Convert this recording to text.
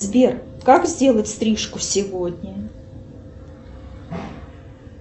сбер как сделать стрижку сегодня